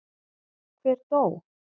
Hver dó?